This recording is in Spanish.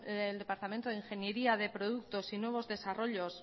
departamento de ingeniería de productos y nuevos desarrollos